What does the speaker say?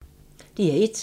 DR1